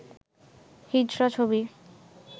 হিজড়া ছবি